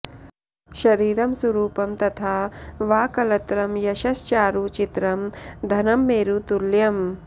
शरीरं सुरूपं तथा वा कलत्रं यशश्चारु चित्रं धनं मेरुतुल्यं